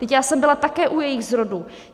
Vždyť já jsem byla také u jejich zrodu.